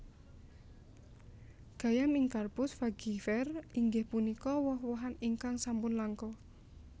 Gayam Incarpus fagifer inggih punika woh wohan ingkang sampun langka